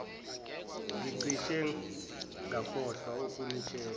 ngicishe ngakhohlwa ukunitshela